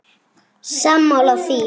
Sammála því?